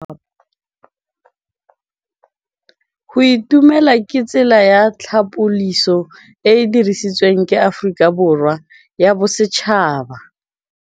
Go itumela ke tsela ya tlhapolisô e e dirisitsweng ke Aforika Borwa ya Bosetšhaba.